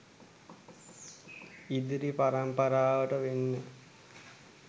ඉදිරි පරම්පරාවට වෙන්නෙ